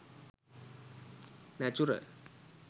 natural